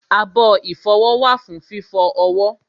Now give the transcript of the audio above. abọ́ ìfọwọ́ wà fún fífọ ọwọ́